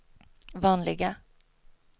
vanliga